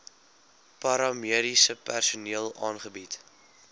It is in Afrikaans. paramediese personeel aangebied